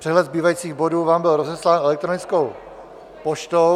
Přehled zbývajících bodů vám byl rozeslán elektronickou poštou.